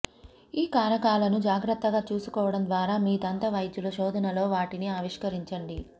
ఈ కారకాలను జాగ్రత్తగా చూసుకోవడం ద్వారా మీ దంత వైద్యుల శోధనలో వాటిని ఆవిష్కరించండి